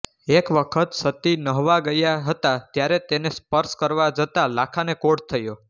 એક વખત સતી નહાવા ગયા હતા ત્યારે તેને સ્પર્શ કરવા જતાં લાખાને કોઢ થયો